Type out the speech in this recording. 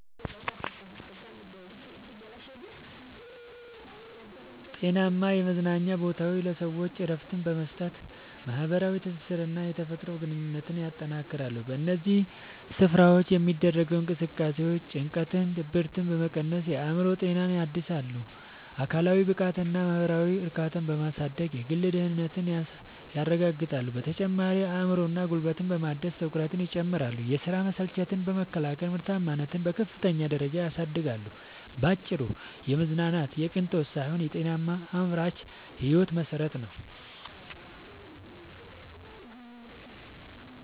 ጤናማ የመዝናኛ ቦታዎች ለሰዎች እረፍት በመስጠት፣ ማኅበራዊ ትስስርንና የተፈጥሮ ግንኙነትን ያጠናክራሉ። በእነዚህ ስፍራዎች የሚደረጉ እንቅስቃሴዎች ጭንቀትንና ድብርትን በመቀነስ የአእምሮ ጤናን ያድሳሉ፤ አካላዊ ብቃትንና ማኅበራዊ እርካታን በማሳደግም የግል ደህንነትን ያረጋግጣሉ። በተጨማሪም አእምሮንና ጉልበትን በማደስ ትኩረትን ይጨምራሉ፤ የሥራ መሰልቸትን በመከላከልም ምርታማነትን በከፍተኛ ደረጃ ያሳድጋሉ። ባጭሩ መዝናናት የቅንጦት ሳይሆን የጤናማና አምራች ሕይወት መሠረት ነው።